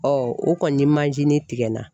o kɔni tigɛ n na